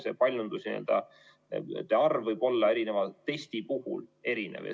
See paljunduste n‑ö arv võib olla erinevate testide puhul erinev.